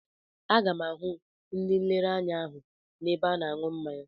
Aga m ahụ ndị nlereanya ahụ n'ebe a na-aṅụ mmanya.